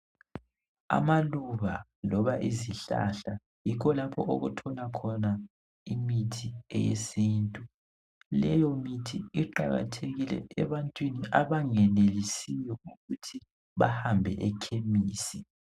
Amaluba loba izihlahla yikho lapho okuthola khona imithi eyesiNtu leyo mithi iqakathekile ebantwini abangenelisiyo ukuthi bahambe eKhemisi.